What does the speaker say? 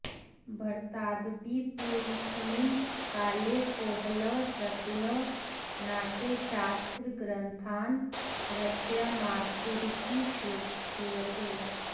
भरतादपि पूर्वस्मिन् काले कोहलः दत्तिलः नाट्यशास्त्रग्रन्थान् रचयामासतुरिति श्रूयते